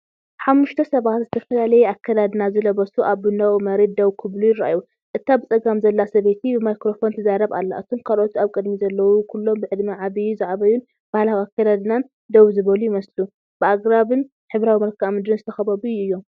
ሓሙሽተ ሰባት ዝተፈላለየ ኣከዳድና ዝለበሱ ኣብ ቡናዊ መሬት ደው ክብሉ ይረኣዩ። እታ ብጸጋም ዘላ ሰበይቲ ብማይክሮፎን ትዛረብ ኣላ፤ እቶም ካልኦት ኣብ ቅድሚት ዘለዉ ኩሎም ብዕድመ ዝዓበዩን ባህላዊ ኣከዳድናን ኣከዳድናን ደው ዝበሉ ይመስሉ። ብኣግራብን ሕብራዊ መልክዓ ምድርን ዝተኸበቡ እዮም።